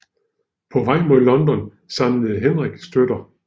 På vej mod London samlede Henrik støtter